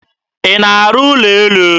Ị na-arụ ụlọ elu?